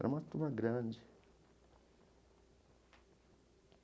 Era uma turma grande.